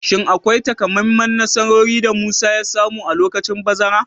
Shin akwai takamaiman nasarori da Musa ya samu a lokacin bazara?